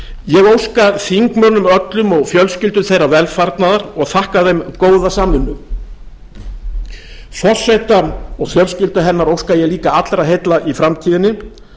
ég óska þingmönnum öllum og fjölskyldum þeirra velfarnaðar og þakka þeim góða samvinnu forseta og fjölskyldu hennar óska ég líka allra heilla í framtíðinni